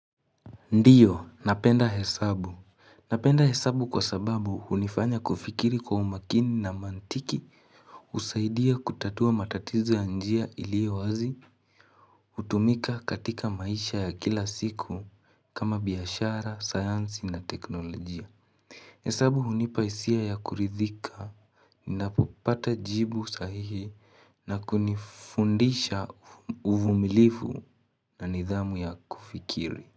Ndiyo napenda hesabu napenda hesabu kwa sababu unifanya kufikiri kwa umakini na mantiki usaidia kutatua matatizo ya njia iliyo wazi utumika katika maisha ya kila siku kama biashara, sayansi na teknolojia hesabu unipaisia ya kuridhika napopata jibu sahihi na kunifundisha uvumilifu na nidhamu ya kufikiri.